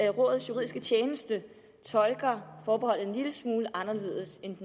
at rådets juridiske tjeneste tolker forbeholdet en lille smule anderledes end